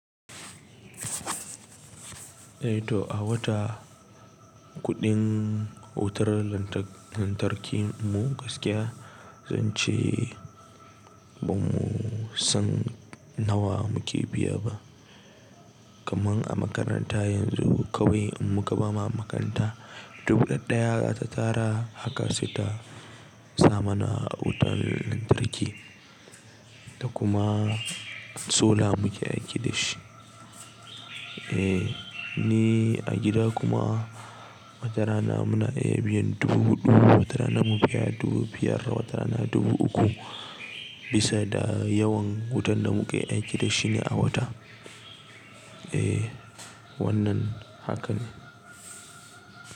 Eh to a wata kuɗin wutar lantarki mu gaskiya zan ce ba mu san nawa muke biya ba. Kaman a makaranta yanzu kawai in muka bama makaranta, dubu ɗaya ta tara haka sai ta sa mana wutar lantarki da kuma solar muke aiki da shi. Eh, ni a gida kuma watarana muna iya biyan dubu huɗu, watarana mu biya dubu biyar, watara na dubu uku bisa da yawan wutan da muke aiki da shi ne a wata. Eh wannan hakane.